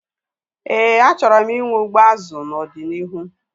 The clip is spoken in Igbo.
Éè, achọrọ m inwe azụ ugbo n'ọdịnihu